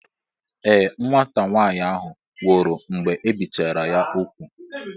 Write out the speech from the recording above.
Ee, nwata nwaanyị ahụ nwụrụ mgbe ebichara ya ugwu.